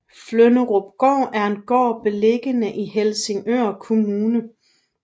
Flynderupgård er en gård beliggende i Helsingør Kommune